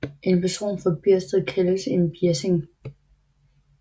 En person fra Biersted kaldes en Bjessing